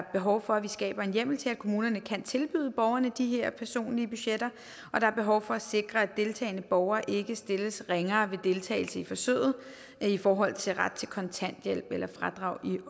behov for at vi skaber en hjemmel til at kommunerne kan tilbyde borgerne de her personlige budgetter og der er behov for at sikre at deltagende borgere ikke stilles ringere ved deltagelse i forsøget i forhold til deres ret til kontanthjælp eller fradrag i